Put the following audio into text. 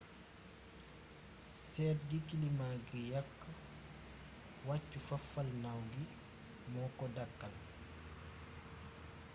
seet gi kilima gi yàkk wàccu fafalnaaw gi moo ko dàkkal